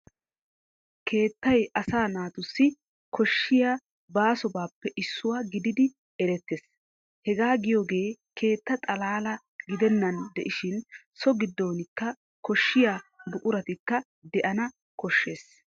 Keettay asaa naatussi koshshiya baasobaappe issuwa gididi erettees. Hegaa giyogee keetta xalaalaa gidennan de'ishin so giddoonikka koshshiya buquratikka de'ana koshshees.